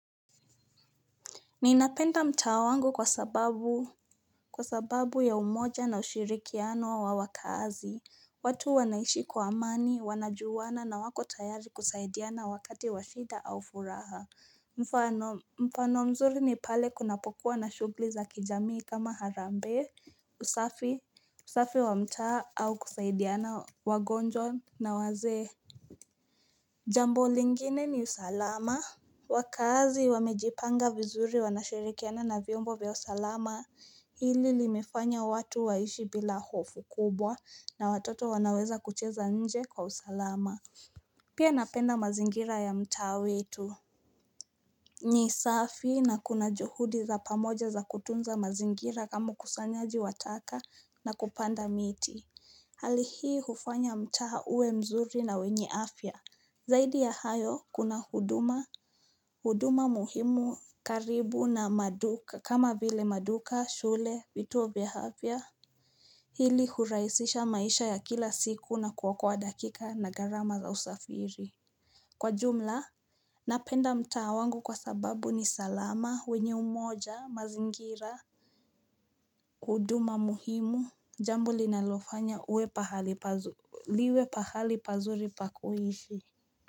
Niinapenda mtaa wangu kwa sababu ya umoja na ushirikiano wa wakaazi. Watu wanaishi kwa amani, wanajuwana na wako tayari kusaidiana wakati wa shida au furaha. Mfano mzuri ni pale kunapokuwa na shugli za kijamii kama harambee, usafi wa mtaa au kusaidiana wagonjwa na wazee. Jambo lingine ni usalama. Wakaazi wamejipanga vizuri wanashirikiana na vyombo vya usalama Hili limeifanya watu waishi bila hofu kubwa na watoto wanaweza kucheza nje kwa usalama Pia napenda mazingira ya mtaa wetu ni safi na kuna juhudi za pamoja za kutunza mazingira kama ukusanyaji wa taka na kupanda miti Hali hii hufanya mta uwe mzuri na wenye afya Zaidi ya hayo kuna huduma, huduma muhimu karibu na maduka, kama vile maduka, shule, vituo vya hafya. Hili huraisisha maisha ya kila siku na kuokoa dakika na gharama za usafiri. Kwa jumla, napenda mtaa wangu kwa sababu ni salama, wenye umoja, mazingira. Huduma muhimu, jambo linalofanya liwe pahali pazuri pa kuhishi.